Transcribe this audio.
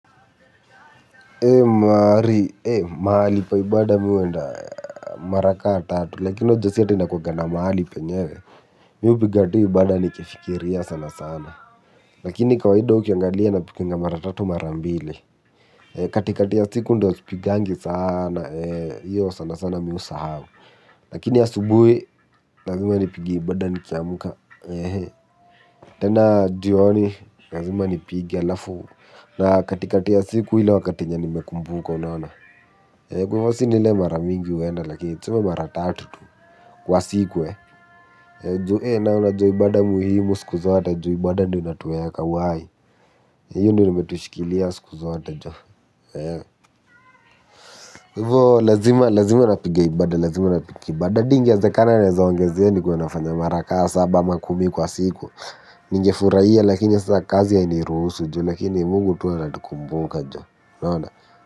Mahari, mahali pa ibaada mimi huenda mara kama tatu, lakini unajua si ati nakuanga na mahali penyewe, mimi hupiga tu ibaada nikifikiria sana sana, lakini kawaida ukiangalia napiganga mara tatu mara mbili, katikati ya siku ndiyo sipigangi sana, hiyo sana sana mimi husahau, lakini asubuhi lazima nipige ibaada nikiamka, tena jioni lazima nipige halafu na katikati ya siku ile wakati yenye nimekumbuka unaona. Kwa hivyo sina ile mara mingi huenda lakini tuseme mara tatu tu kwa siku juu na unajua ibaada muhimu siku zote juu ibaada ndiyo inatuweka uhai hiyo ndiyo imetushikilia siku zote jo. Kwa hivyo lazima lazima napiga ibaada lazima napiga ibaada hadi ingewezekana naweza ongezea nikuwe nafanya mara kama saba ama kumi kwa siku. Ningefurahia lakini sasa kazi hainiruhusu jo lakini mungu tu anatukumbuka jo unaona.